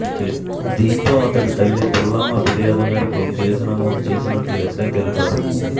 దీంతో అతడి తల్లి పుల్లమ్మ ఫిర్యాదు మేరకు కేసు నమోదు చేసినట్లు ఎస్ఐ తెలిపారు